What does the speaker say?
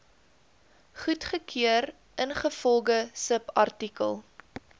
goedgekeur ingevolge subartikel